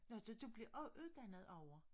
Nå så du blev uddannet derovre?